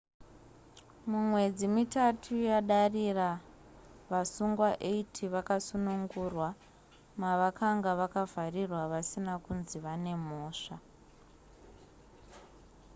mumwedzi mitatu yadarira vasungwa 80 vakasunungurwa mavakanga vakavharirwa vasina kunzi vane mhosva